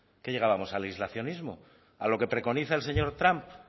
qué llegábamos al aislacionismo a lo que preconiza el señor trump